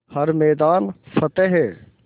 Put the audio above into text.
हर मैदान फ़तेह